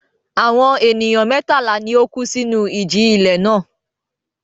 Àwọn ènìyàn mẹ́tàlá ni ó kú sínú ìjì-ilẹ̀ náà.